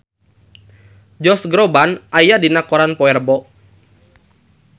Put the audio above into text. Josh Groban aya dina koran poe Rebo